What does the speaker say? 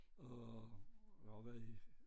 Og og jeg har været i